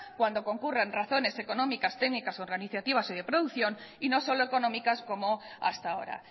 cuando concurran razones económicas técnicas organizativas o de producción y no solo económicas como hasta ahora